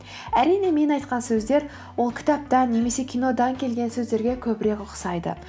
әрине мен айтқан сөздер ол кітаптан немесе кинодан келген сөздерге көбірек ұқсайды